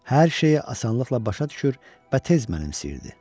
Hər şeyə asanlıqla başa düşür və tez mənimsəyirdi.